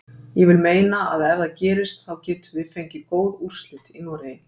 Ég vil meina að ef það gerist þá getum við fengið góð úrslit í Noregi.